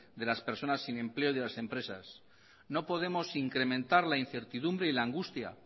de las personas sin empleo y de las empresas no podemos incrementar la incertidumbre y la angustia